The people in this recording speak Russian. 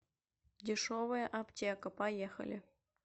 дешевая аптека поехали